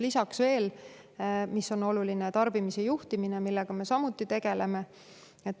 Lisaks veel on oluline tarbimise juhtimine, millega me samuti tegeleme.